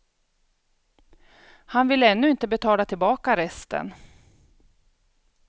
Han vill ännu inte betala tillbaka resten.